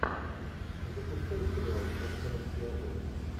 запускай сериал наркомовский обоз